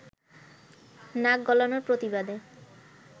নাক গলানোর প্রতিবাদে